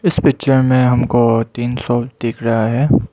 इस पिक्चर में हमको तीन फ्लोर दिख रहा है।